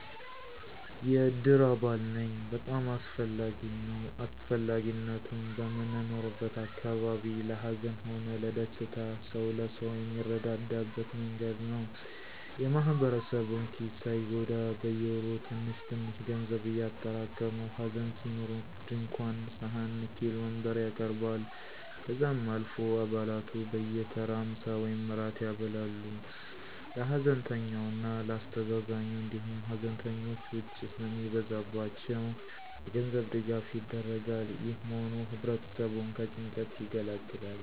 የእድር አባል ነኝ። በጣም አስፈላጊም ነዉ. አስፈላጊነቱም, በምንኖርበት አካባቢ ለ ሀዘን ሆነ ለደስታ ሰዉ ለሰው የሚረዳዳበት መንገድ ነዉ። የ ማህበረሰቡን ኪስ ሳይጎዳ በየወሩ ትንሽትንሽ ገንዘብ እያጠራቀሙ ሀዘን ሲኖር ድንኳን ,ሰሀን, ንኬል, ወንበር ያቀርባል። ከዛም አልፎ አባላቱ በየተራ ምሳ ወይም እራት ያበላሉ ለ ሀዘንተኛው እና ለ አስተዛዛኙ, እንዲሁም ሀዘንተኞች ውጪ ስለሚበዛባቸው የገንዘብ ድጋፍ ይደረጋል። ይህ መሆኑ ህብረተሰቡን ከጭንቀት ይገላግላል።